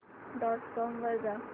dot com वर जा